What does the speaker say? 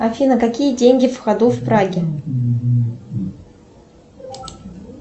афина какие деньги в ходу в праге